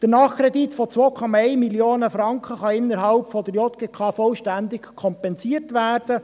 Der Nachkredit von 2,1 Mio. Franken kann innerhalb der JGK vollständig kompensiert werden.